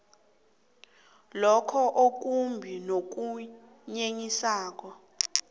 lokho okumbi nokunyenyisako